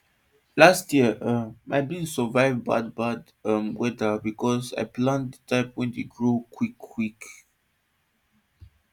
last year um my beans survive bad bad um weather because i plant the type wey dey grow quick quick